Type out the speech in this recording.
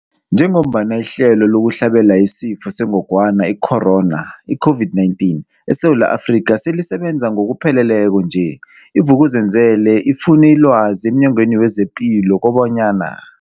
Njengoba ihlelo lokuhlabela isiFo sengogwana sengogwana i-Corona, i-COVID-19, eSewula Afrika selisebenza ngokupheleleko nje, i-Vuk'uzenzele ifune ilwazi emNyangweni wezePilo kobanyana.